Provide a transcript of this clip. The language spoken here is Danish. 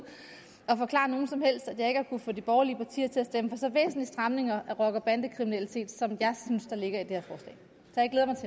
og forklare nogen som helst at jeg ikke har kunnet få de borgerlige partier til at stemme for så stramninger mod rocker bande kriminalitet som jeg synes der ligger i det